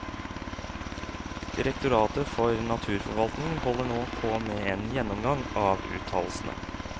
Direktoratet for naturforvaltning holder nå på med en gjennomgang av uttalelsene.